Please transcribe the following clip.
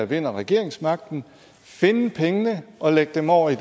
vinder regeringsmagten finde pengene og lægge dem over i